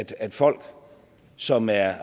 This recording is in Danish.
at folk som er